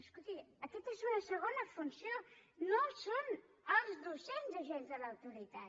escolti aquesta és una segona funció no són els docents agents de l’autoritat